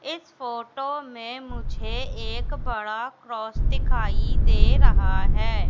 इस फोटो में मुझे एक बड़ा क्रॉस दिखाई दे रहा है।